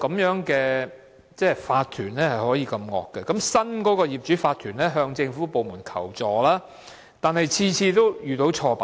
原有法團竟可這麼惡，即使新的業主法團向政府部門求助，但每次也遇到挫敗。